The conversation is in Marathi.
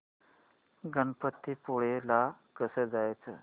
गणपतीपुळे ला कसं जायचं